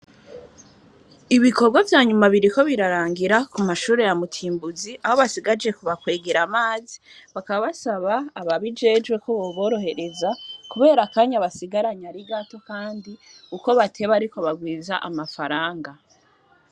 Ibikorwa vya nyuma biriko birarangira ku mashure ya mutimbuzi, aho basigaje kubakwegera amazi, bakaba basaba ababijejwe ko boborohereza kubera akanya basigaranye ari gato, kandi uko bateba ariko barwiza amafaranga.